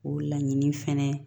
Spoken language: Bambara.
O laɲini fɛnɛ